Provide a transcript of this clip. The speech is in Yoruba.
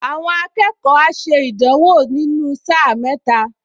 Àwọn akẹ́kọ̀ọ á ṣe ìdánwò nínú sáà mẹ́tẹ́ẹ̀ta